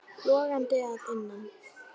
Logandi að innan.